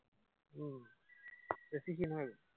উম বেছি ক্ষীণ হৈ গলো।